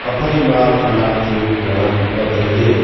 aphai ma khanak chu ngan ang kaple taile.